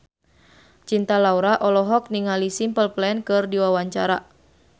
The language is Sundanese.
Cinta Laura olohok ningali Simple Plan keur diwawancara